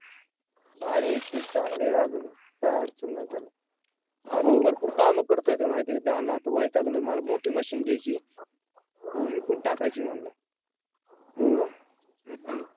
भारी ए! ती चांगली आहे अजून काय अडचण नाय त्याला अजून भरपूर कामं करतोय तो म्हायतीए का? तो म्हणला तो वैतागलो मला मोठी machine घ्यायची विकून टाकायची म्हणला